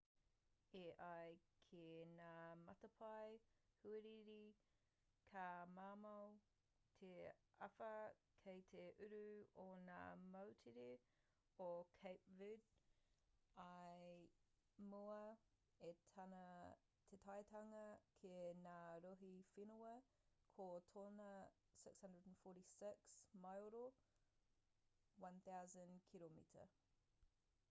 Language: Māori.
e ai ki ngā matapae huarere ka mamao te āwha kei te uru o ngā moutere o cape verde i mua i tana taetanga ki ngā rohe whenua ko tōna 646 maero 1,000 kiromita,